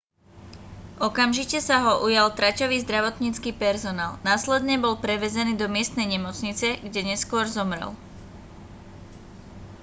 okamžite sa ho ujal traťový zdravotnícky personál následne bol prevezený do miestnej nemocnice kde neskôr zomrel